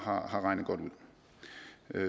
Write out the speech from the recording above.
har regnet godt ud